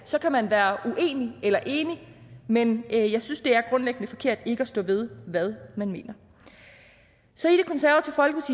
så kan man være uenig eller enig men jeg synes det er grundlæggende forkert ikke at stå ved hvad man mener så